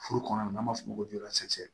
Furu kɔnɔ n'an b'a fɔ o ma ko